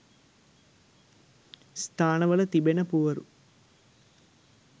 ස්ථානවල තිබෙන පුවරු